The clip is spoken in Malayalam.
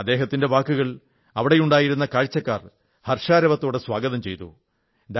അദ്ദേഹത്തിന്റെ വാക്കുകൾ അവിടെയുണ്ടായിരുന്ന കാഴ്ചക്കാർ ഹർഷാരവത്തോടെ സ്വാഗതം ചെയ്തു